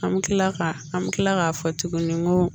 An bɛ kila ka an bɛ tila k'a fɔ tuguni n ko